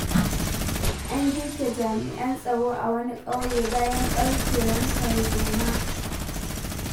An girke jami'an tsaro a wani ƙauye bayan ɓarkewar tarzoma.